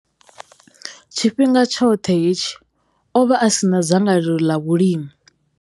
Tshifhinga tshoṱhe hetshi, o vha a si na dzangalelo ḽa vhulimi.